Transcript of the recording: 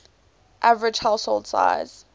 average household size